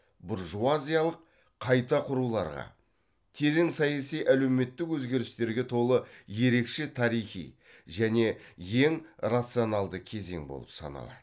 буржуазиялық қайта құруларға терең саяси әлеуметтік өзгерістерге толы ерекше тарихи және ең рационалды кезең болып саналады